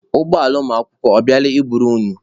Ụgbọala ụlọakwụkwọ ọ bịala i buru unu?